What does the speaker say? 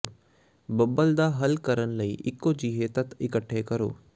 ਬੱਬਲ ਦਾ ਹੱਲ ਕਰਨ ਲਈ ਇਕੋ ਜਿਹੇ ਤੱਤ ਇਕੱਠੇ ਕਰੋ